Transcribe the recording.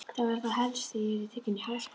Það var þá helst að ég yrði tekin í háskóla!